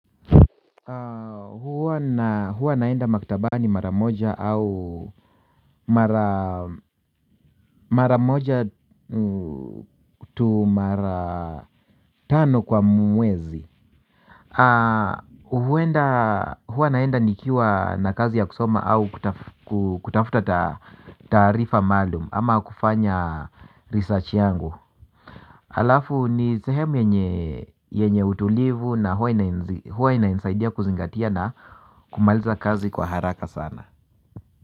Huwa naenda makitabani mara moja au mara moja tu mara tano kwa mwezi. Huwa naenda nikiwa na kazi ya kusoma au kutafuta taarifa maalum ama kufanya 'research' yangu. Alafu ni sehemu yenye utulivu na huwa inanisaidia kuzingatia na kumaliza kazi kwa haraka sana.